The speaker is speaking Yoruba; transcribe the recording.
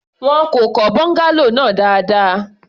Wọn kò kọ́ bungalow náà dáadáa.